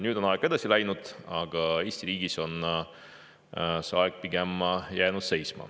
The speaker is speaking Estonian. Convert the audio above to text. Nüüd on aeg edasi läinud, aga Eesti riigis on aeg pigem seisma jäänud.